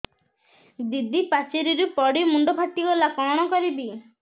ଦିଦି ପାଚେରୀରୁ ପଡି ମୁଣ୍ଡ ଫାଟିଗଲା କଣ କରିବି